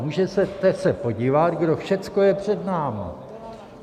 Můžete se podívat, kdo všechno je před námi.